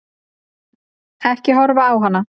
Ekki horfa á hana!